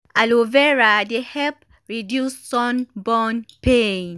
aloe vera dey help reduce sunburn pain.